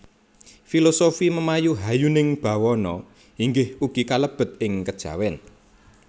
Filosofi memayu hayuning bawana inggih ugi kalebet ing kejawen